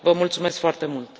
Vă mulțumesc foarte mult.